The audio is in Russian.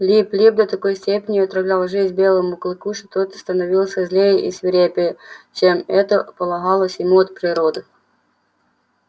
лип лип до такой степени отравлял жизнь белому клыку что тот становился злее и свирепее чем это полагалось ему от природы